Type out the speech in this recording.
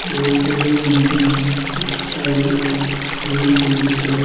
বহুতকেইজন মানুহ খোজকাঢ়ি ঘূৰি ফুৰিছে।